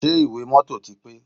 Ṣé ìwé mọ́tọ̀ ti pé?